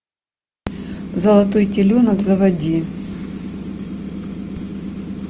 золотой теленок заводи